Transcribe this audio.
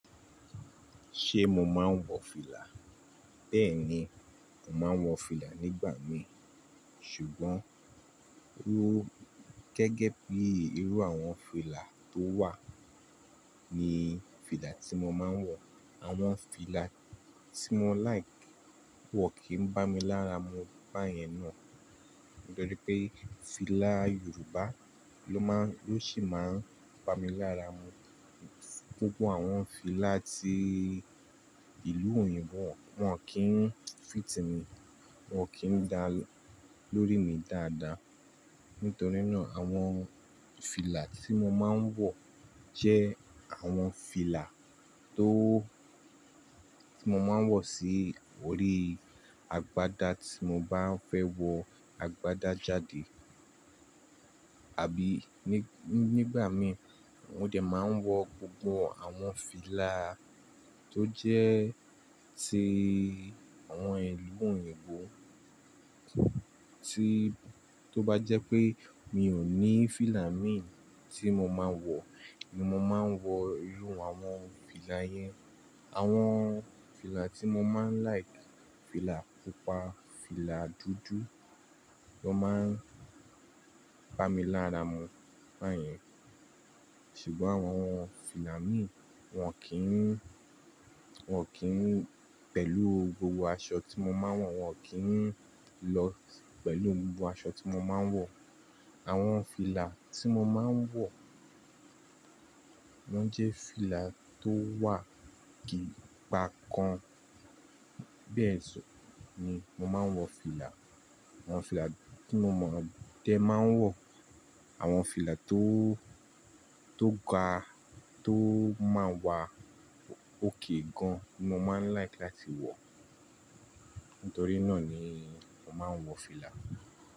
Ṣé mo máa ń wọ fìlà? Bẹ́ẹ̀ni, mò máa ń wọ fìlà nígbà mi ṣùgbọ́n ru gẹ́gẹ́ bí irú àwọn fìlà tó wà ni fìlà tí mo máa ń wọ. Àwọn fìlà tí mo like wọ kìí bá mi lára mu báyẹn náà. Nitorí pé fìlà Yorùbá ló máa-- ló sì máa ń bá mi lára mu. Gbogbo àwọn fìlà ti ìlú òyìnbó wọn kì í fit mi, wọn kì í dá lórí mi dáadáa. Nítorí náà àwọn fìlà tí mo máa ń wọ jẹ́ àwọn fìlà tó tí mo máa ń wọ sí orí agbádá tí mo bá ń fẹ́ wọ agbádá jáde àbí ní nígbà mí mo de máa ń wọ gbogbo àwọn fìlà tó jẹ́ ti àwọn ìlú òyìnbó. Tí tó bá jẹ́ pé mi ò ní fìlà mi tí mo máa ń wọ ni mo máa ń wọ irú àwọn fìlà yẹn. Àwọn fìlà tí mo máa ń like, fìlà pupa, fìlà dúdú ló máa ń bá mi lára mu báyẹn. Ṣùgbọ́n àwọn fìlà mi wọn kì í-- wọn kì í pẹ̀lú gbogbo aṣọ tí mo máa ń wọ, wọn kì í lọ pẹ̀lú gbogbo aṣọ tí mo máa ń wọ. Àwọn fìlà tí mo máa ń wọ wọn jẹ́ fìlà tó wà gí-pa kan. Bẹ́ẹ̀ sọ, tun ni mo máa ń wọ fìlà. Àwọn fìlà tí mo máa de máa ń wọ àwọn fìlà tó tó ga tó máa wà ókay gan ni mo máa ń like láti wọ. Nítorí náà ni mò máa ń wọ fìlà.